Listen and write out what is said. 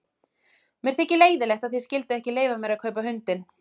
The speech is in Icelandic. Mér þykir leiðinlegt að þið skylduð ekki leyfa mér að kaupa hundinn.